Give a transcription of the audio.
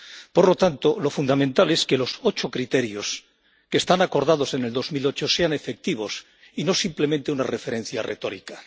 Por lo tanto, lo fundamental es que los ocho criterios que se acordaron en 2008 sean efectivos, y no simplemente una referencia retórica.